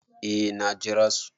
Eh na jera su.